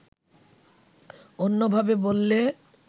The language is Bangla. অন্যভাবে বললে